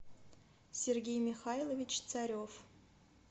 сергей михайлович царев